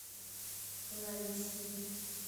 лайси